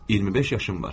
İyirmi beş yaşım var.